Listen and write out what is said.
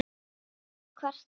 Ekki kvartar hún